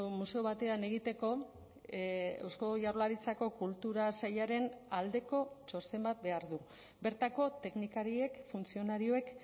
museo batean egiteko eusko jaurlaritzako kultura sailaren aldeko txosten bat behar du bertako teknikariek funtzionarioek